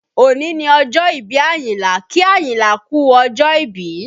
Òní ni ọjọ́ ìbí Ayinla, kí Ayinla kú ọjọ́ ìbí